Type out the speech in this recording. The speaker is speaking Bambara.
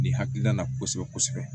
Nin hakilina kosɛbɛ kosɛbɛ